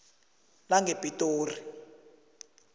langepitori